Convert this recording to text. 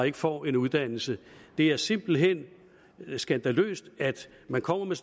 ikke får en uddannelse det er simpelt hen skandaløst at man kommer med